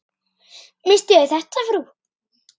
Misstuð þér þetta, frú!